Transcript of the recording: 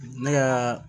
Ne ka